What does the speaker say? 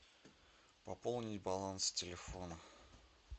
пополнить баланс телефона